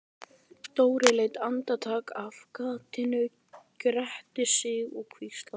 Dóri leit andartak af gatinu, gretti sig og hvíslaði: